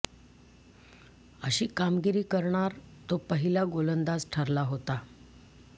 अशी कामगिरी करणार तो पहिला गोलंदाज ठरला होता